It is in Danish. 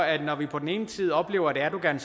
at når vi på den ene side oplever at erdogan